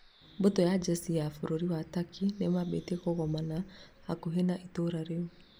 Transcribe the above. Mbũtũ ya njeshi ya bũrũri wa Turkey nĩmambĩtie kũgomana hakuhĩ na itũra rĩu